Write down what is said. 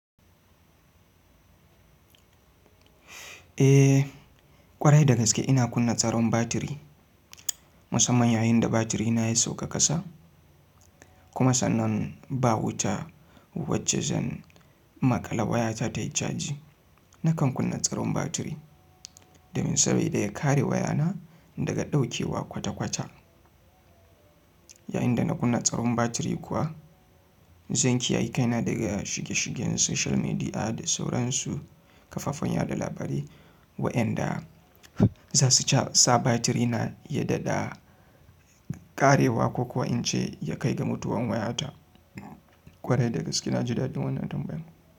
Eh ƙwarai da gaske ina kunna tsaron batiri. Musamman yayin da batirina ya sauka ƙasa. Kuma sannan ba wuta, wacce zan maƙala wayata tayi caji. Nakan kunna tsaron batiri, domin sabida ya kare wayana daga ɗaukewa kwata-kwata. Yayin da na kunna tsaron batiri kuwa, zan kiyayi kaina daga shige-shigen social media, da sauransu kafafen yaɗa labarai. Waƴanda za su sa batirina ya ɗaɗa ƙarewa ko kuwa in ce ya kai ga mutuwan wayata. Ƙwarai da gaske na ji daɗin wannan tambayan.